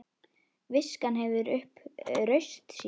Viskan hefur upp raust sína.